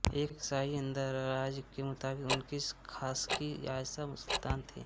एक शाही इंदराज के मुताबिक़ उनकी ख़ासकी आयशा सुल्तान थी